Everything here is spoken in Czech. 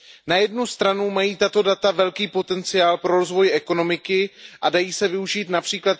Na jednu stranu mají tato data obrovský potenciál pro rozvoj ekonomiky a dají se využít např.